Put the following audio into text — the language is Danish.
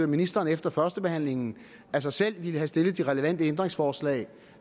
ministeren efter førstebehandlingen af sig selv ville have stillet de relevante ændringsforslag